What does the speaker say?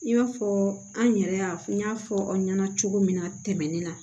I b'a fɔ an yɛrɛ y'a fɔ n y'a fɔ aw ɲɛna cogo min na tɛmɛnen na